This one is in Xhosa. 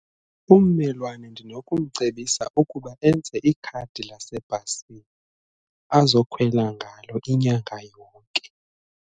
Ummelwane ndinokumcebisa ukuba enze ikhadi lasebhasini azokhwela ngalo inyanga yonke.